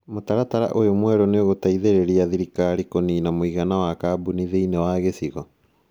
Mũtaratara ũyũ mwerũ nĩ ũgũteithĩrĩria thirikari kũniina mũigana wa kambuni thĩinĩ wa gĩcigo.